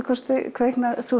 kvikna sú